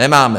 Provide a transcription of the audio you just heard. Nemáme!